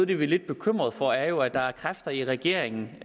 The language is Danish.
det vi er lidt bekymrede for er jo at der er kræfter i regeringen